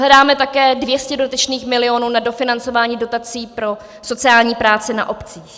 Hledáme také 200 dodatečných milionů na dofinancování dotací pro sociální práce na obcích.